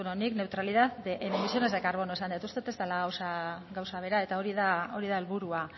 beno nik neutralidad de emisiones de carbono esan det uste det ez dela gauza bera eta hori da helburua